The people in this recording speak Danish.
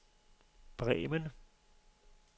Bremen